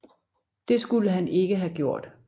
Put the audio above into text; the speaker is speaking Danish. Det skulle han ikke have gjort